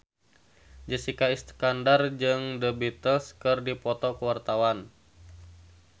Jessica Iskandar jeung The Beatles keur dipoto ku wartawan